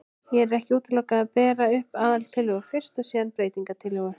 Hér er ekki útilokað að bera upp aðaltillögu fyrst og síðan breytingatillögu.